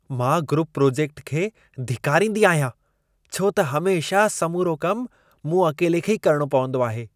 मां group project खे धिकारींदी आहियां, छो त हमेशह समूरो कम मूं अकेले खे ई करिणो पवंदो आहे।